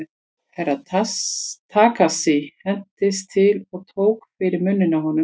Herra Takashi hentist til og tók fyrir munninn á honum.